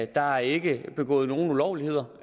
der er ikke begået nogen ulovligheder